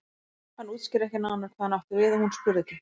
Hann útskýrði ekki nánar hvað hann átti við og hún spurði ekki.